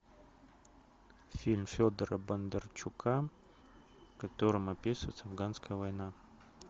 фильм федора бондарчука в котором описывается афганская война